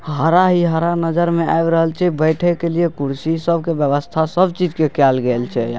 हरा ही हरा नजर में आ रहयल छै बैठे के लिए कुर्सी सब के व्यवस्था सब चीज़ के कएल गएल छै।